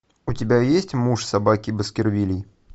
у тебя есть муж собаки баскервилей